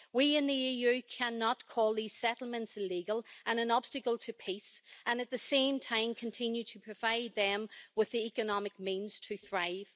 We in the EU cannot call these settlements illegal and an obstacle to peace and, at the same time, continue to provide them with the economic means to thrive.